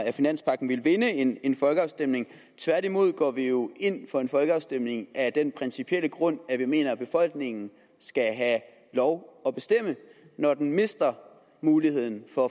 af finanspagten ville vinde en en folkeafstemning tværtimod går vi jo ind for en folkeafstemning af den principielle grund at vi mener at befolkningen skal have lov at bestemme når den mister muligheden for